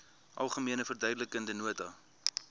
algemene verduidelikende nota